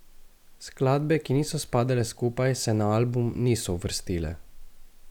Skladbe, ki niso spadale skupaj, se na album niso uvrstile.